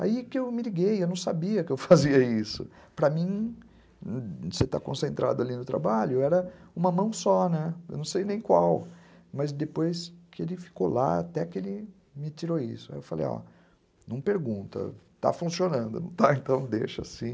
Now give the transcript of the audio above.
Aí que eu me liguei, eu não sabia que eu fazia isso, para mim, você está concentrado ali no trabalho, era uma mão só, eu não sei nem qual, mas depois que ele ficou lá, até que ele me tirou isso, aí eu falei, não pergunta, está funcionando, não está, então deixa assim.